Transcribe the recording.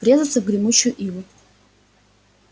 врезаться в гремучую иву